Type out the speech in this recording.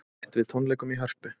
Bætt við tónleikum í Hörpu